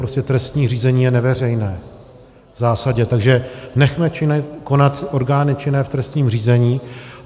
Prostě trestní řízení je neveřejné v zásadě, takže nechme konat orgány činné v trestním řízení.